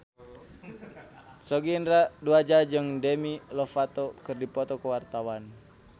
Sogi Indra Duaja jeung Demi Lovato keur dipoto ku wartawan